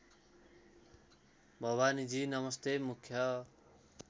भवानीजी नमस्ते मुख्य